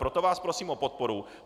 Proto vás prosím o podporu.